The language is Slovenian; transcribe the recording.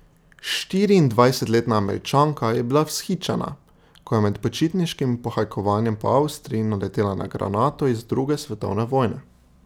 Štiriindvajsetletna Američanka je bila vzhičena, ko je med počitniškim pohajkovanjem po Avstriji naletela na granato iz druge svetovne vojne.